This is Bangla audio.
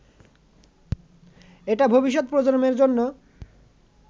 এটা ভবিষ্যৎ প্রজন্মের জন্য